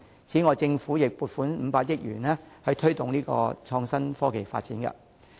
同時，政府會預留500億元，推動創新科技發展。